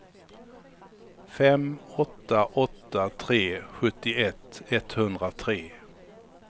fem åtta åtta tre sjuttioett etthundratre